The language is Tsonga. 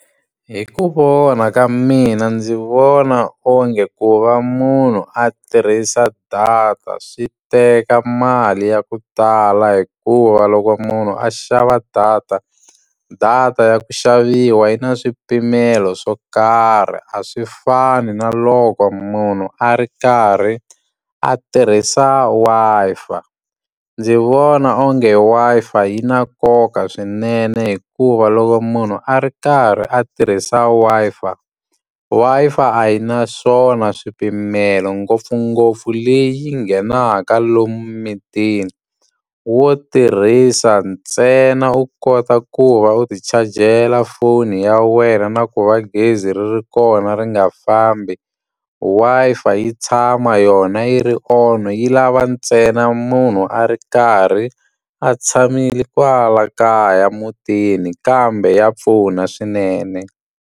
Hi ku vona ka mina ndzi vona onge ku va munhu a tirhisa data swi teka mali ya ku tala hikuva loko munhu a xava data, data ya ku xaviwa yi na swipimelo swo karhi. A swi fani na loko munhu a ri karhi a tirhisa Wi-Fi. Ndzi vona onge Wi-Fi yi na nkoka swinene hikuva loko munhu a ri karhi a tirhisa Wi-Fi, Wi-Fi a yi na swona swipimelo ngopfungopfu leyi nghenaka lomu mimitini. Wo tirhisa ntsena u kota ku va u ti-charge-ela foni ya wena na ku va gezi ri ri kona ri nga fambi. Wi-Fi yi tshama yona yi ri on, yi lava ntsena munhu a ri karhi a tshamile kwala kaya mutini. Kambe ya pfuna swinene.